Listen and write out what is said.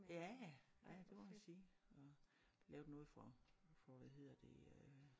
Ja ja ej det må man sige og lavet noget for for hvad hedder det øh